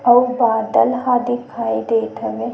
अउ बादल ह दिखाई देत हवे।